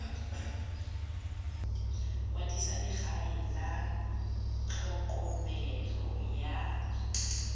kwadisa legae la tlhokomelo ya